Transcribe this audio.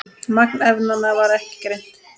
Magn efnanna var ekki greint.